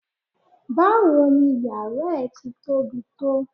Báwo ni yàrá ẹ ti tóbi tó?